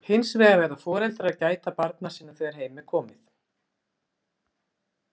Hins vegar verða foreldrar að gæta barna sinna þegar heim er komið.